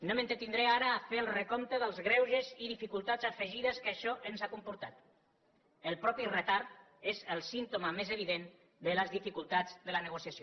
no m’entretindré ara a fer el recompte dels greuges i dificultats afegides que això ens ha comportat el mateix retard és el símptoma més evident de les dificultats de la negociació